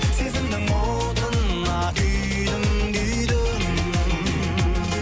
сезімнің отына күйдім күйдім